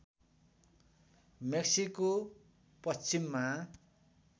Mexico पश्चिममा